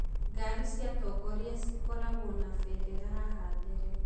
ngari cia atongoria cikoragwo na bendera haha mbere.